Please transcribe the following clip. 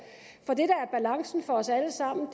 os alle sammen